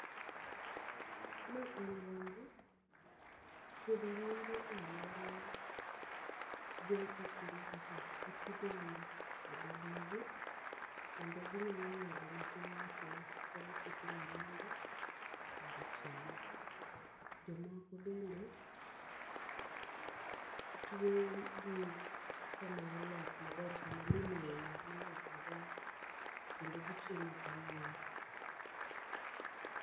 Ma en rombo, pidho rombo e alwora wa, jogi timo kaka gipidho lum e delni gi. Kendo ginyalo ng'ado matin matin ka giketo ne rombe mondo ocham. Jomoko bende, tweyo gi kama oloth maber kama lum ng'enye, moloth maber. Kendo gichiemo kanyo ero.